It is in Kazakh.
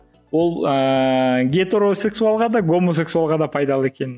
ол ыыы гетеросексуалға да гомосексуалға да пайдалы екенін